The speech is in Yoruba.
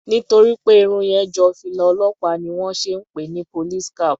Nítorí pé Irun yẹn jọ fìlà olópàá ni wón ṣe ń pè ni police cap.